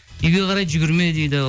үйге қарай жүгірме дейді